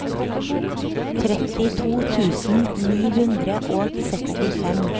trettito tusen ni hundre og sekstifem